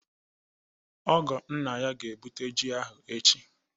Ọgọ nna ya ga-ebute ji ahụ echi